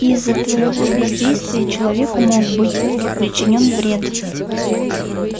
из-за твоего бездействия человеку мог быть причинен вред